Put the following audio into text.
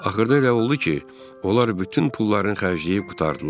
Axırda elə oldu ki, onlar bütün pullarını xərcləyib qurtardılar.